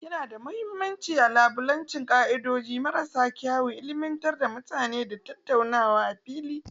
Yana da mahimmanci a kalubalanci ka'idoji marasa kyau, ilmantar da mutane, da tattaunawa a fili.